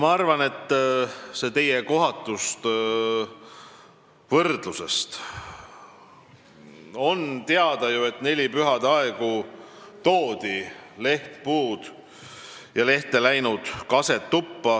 Ma arvan sellest teie kohatust võrdlusest nii: on teada ju, et nelipühade aegu toodi tuppa lehtpuid ja lehte läinud kaski.